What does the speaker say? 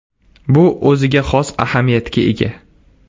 Bu o‘ziga xos ahamiyatga ega.